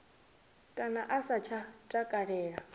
kana a sa tsha takalela